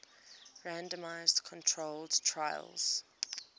randomized controlled trials